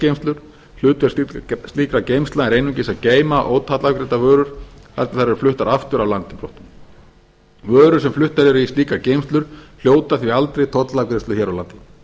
umflutningsgeymslur hlutverk slíkra geymslna er einungis að geyma ótollafgreiddar vörur þar til þær eru fluttar aftur af landi brott vörur þær sem fluttar eru í slíkar geymslur hljóta því aldrei tollafgreiðslu hér á landi